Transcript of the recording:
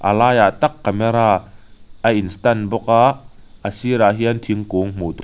a laiah tak camera a in stand bawk a a sirah hian thingkung hmuh tur--